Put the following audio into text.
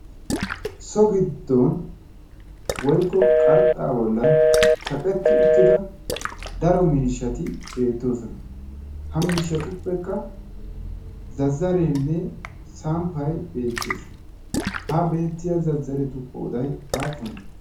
so giddon woykko qarxaa bolan kaqetti utida daro miishshati beetoosona. ha miishshatuppekka zazareenne samppay beettees.ha beetiya zazzaretu qooday aappunee?